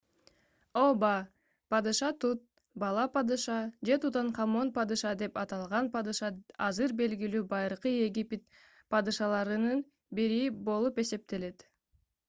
ооба падыша тут бала падыша же тутанхамон падыша деп аталган падыша азыр белгилүү байыркы египет падышаларынын бири болуп эсептелет